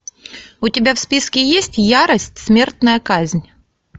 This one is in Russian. у тебя в списке есть ярость смертная казнь